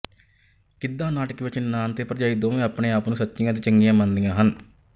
ਗਿੱਧਾ ਨਾਟਕ ਵਿੱਚ ਨਨਾਣ ਅਤੇ ਭਰਜਾਈ ਦੋਵੇਂ ਆਪਣੇ ਆਪ ਨੂੰ ਸੱਚੀਆਂ ਅਤੇ ਚੰਗੀਆਂ ਮੰਨਦੀਆਂ ਹਨ